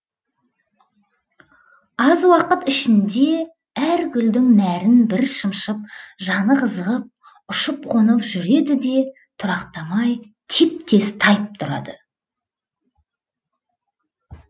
аз уақыт ішінде әр гүлдің нәрін бір шымшып жаны қызығып ұшып қонып жүреді де тұрақтамай теп тез тайып тұрады